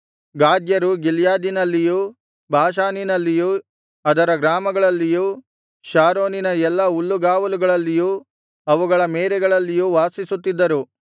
ಗಾದ್ಯರು ಗಿಲ್ಯಾದಿನಲ್ಲಿಯೂ ಬಾಷಾನಿನಲ್ಲಿಯೂ ಅದರ ಗ್ರಾಮಗಳಲ್ಲಿಯೂ ಶಾರೋನಿನ ಎಲ್ಲಾ ಹುಲ್ಲುಗಾವಲುಗಳಲ್ಲಿಯೂ ಅವುಗಳ ಮೇರೆಗಳಲ್ಲಿಯೂ ವಾಸಿಸುತ್ತಿದ್ದರು